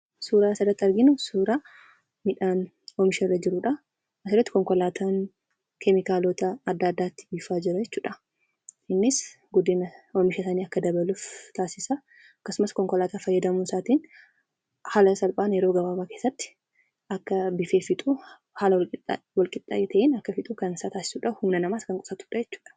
Suuraan asirratti arginu suuraa midhaan oomisharra jirudha. Asirratti konkolaataan guddinni oomisha isaanii akka dabaluuf akkasumas konkolaataa fayyadamuu isaatiin haala salphaan yeroo gabaabaa keessatti akka biifee fixu haala walqixxee ta'een akka fixu kan taasisudha.